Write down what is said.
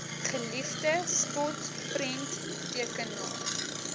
geliefde spot prenttekenaar